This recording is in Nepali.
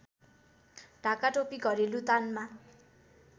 ढाकाटोपी घरेलु तानमा